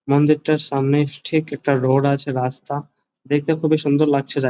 মন্দিরটার সামনে ঠিক একটা রোড আছে রাস্তা দেখতে খুব এই সুন্দর লাগছে যা--